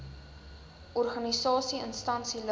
organisasie instansie liggaam